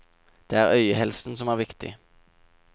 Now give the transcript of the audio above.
Det er øyehelsen som er viktig.